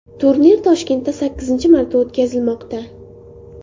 Turnir Toshkentda sakkizinchi marta o‘tkazilmoqda.